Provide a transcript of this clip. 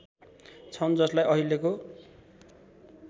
छन् जसलाई अहिलेको